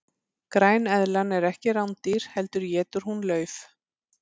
græneðlan er ekki rándýr heldur étur hún lauf